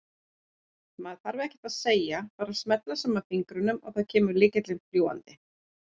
Maður þarf ekkert að segja, bara smella saman fingrunum og þá kemur lykillinn fljúgandi!